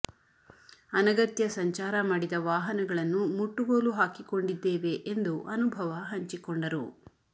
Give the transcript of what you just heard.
ಅನಗತ್ಯ ಸಂಚಾರ ಮಾಡಿದ ವಾಹನಗಳನ್ನು ಮುಟ್ಟುಗೋಲು ಹಾಕಿಕೊಂಡಿದ್ದೇವೆ ಎಂದು ಅನುಭವ ಹಂಚಿಕೊಂಡರು